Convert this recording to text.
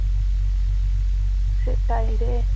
সেটাই রে